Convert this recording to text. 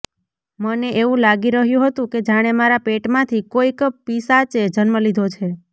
મને એવું લાગી રહ્યું હતું કે જાણે મારા પેટમાંથી કોઈક પિશાચે જન્મ લીધો છે